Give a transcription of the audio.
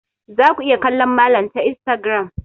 Za ku iya kallon malam ta instagram.